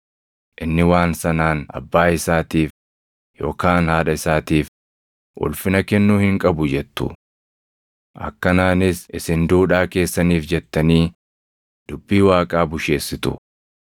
inni waan sanaan abbaa isaatiif yookaan haadha isaatiif ulfina kennuu hin qabu jettu. Akkanaanis isin duudhaa keessaniif jettanii dubbii Waaqaa busheessitu.